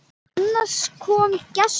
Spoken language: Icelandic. Annars kom gestur.